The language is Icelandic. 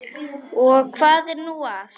Og hvað er nú það?